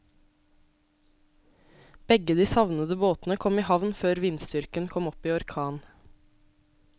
Begge de savnede båtene kom i havn før vindstyrken kom opp i orkan.